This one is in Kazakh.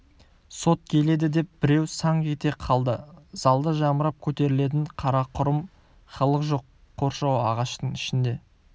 сот келеді деп біреу саңқ ете қалды залда жамырап көтерілетін қарақұрым халық жоқ қоршау ағаштың ішінде